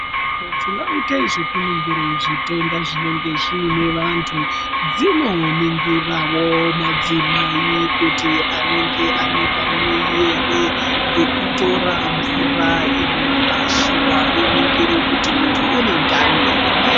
Nzvimbo dzinoite zvekuningire zvitenda zvinenge zvine vantu dzinoningirawo madzimai kuti anenge anepamuwiiri ngekutore mvura inorashiwa voningire kuti muntu unendani here.